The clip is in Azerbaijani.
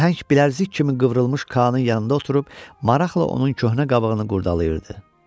O nəhəng bilərzik kimi qıvrılmış Kaanın yanında oturub maraqla onun köhnə qabığını qurdalayırdı.